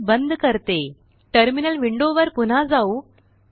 मी हे बंद करते टर्मिनल विंडो वर पुन्हा जाऊ